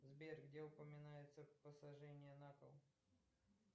сбер где упоминается посажение на кол